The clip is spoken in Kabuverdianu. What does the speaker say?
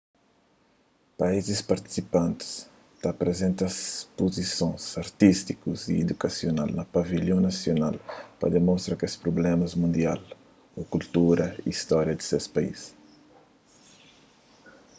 paízis partisipanti ta aprizenta spuzisons artístiku y idukasional na pavilhon nasional pa mostra kesprublémas mundial ô kultura y stória di ses país